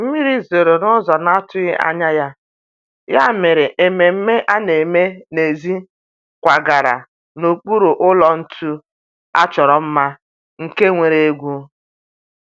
mmiri zoro n'ụzọ na-atughi anya ya, ya mere ememe a na-eme n'èzí kwagara n'okpuru ụlọ ntu a chọrọ mma, nke nwere egwu